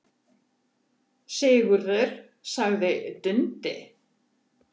Sigurður, sagði Dundi.